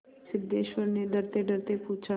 सिद्धेश्वर ने डरतेडरते पूछा